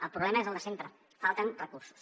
el problema és el de sempre falten recursos